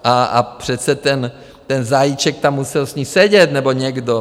A přece ten Zajíček tam musel s ní sedět, nebo někdo?